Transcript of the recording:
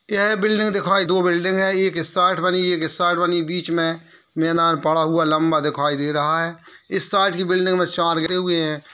यह बिल्डिंग दिखाई दो बिल्डिंग है| एक इस साइड बनी एक इस साइड बनी बीच में मैदान पड़ा हुआ लंबा दिखाई दे रहा है | इस साइड की बिल्डिंग में चार गिरे हुए हैं ।